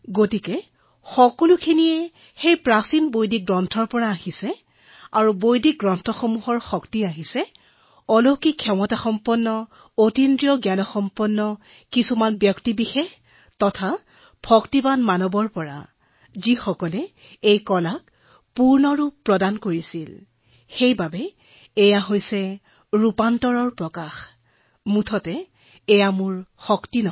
এই সকলোবোৰে প্ৰাচীন বৈদিক শাস্ত্ৰত আছে আৰু এই শাস্ত্ৰৰ শক্তিৰ ফলতে পৰম ভক্তসকলে ইয়াক কলালৈ ৰূপান্তৰিত কৰিছে আৰু সেয়ে ই পৰিৱৰ্তনশীল এয়া মোৰ শক্তি নহয়